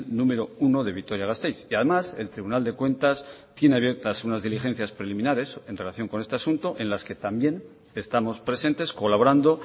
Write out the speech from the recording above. número uno de vitoria gasteiz y además el tribunal de cuentas tiene abiertas unas diligencias preliminares en relación con este asunto en la que también estamos presentes colaborando